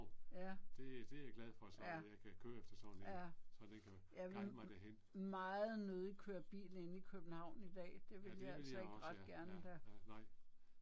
Ja. Ja. Ja. Jeg vil meget nødig køre bil inde i København i dag det vil jeg altså ikke ret gerne da